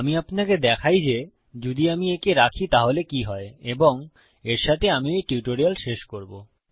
আমি আপনাকে দেখাই যে যদি আমি একে রাখি তাহলে কি হয় এবং এর সাথে আমি এই টিউটোরিয়াল শেষ করবো